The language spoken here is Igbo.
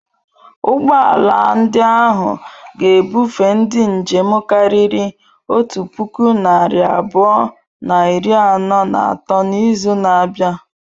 Ụgbọ ala ndị ahụ ga-ebufe ndị njem karịrị otu puku narị abụọ na iri anọ na atọ n'izu na-abịa.